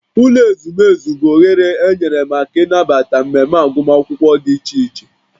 Ụlọ ezumezu bụ oghere enyere maka ịnabata mmemme agụmakwụkwọ dị iche iche